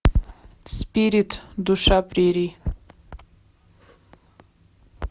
спирит душа прерий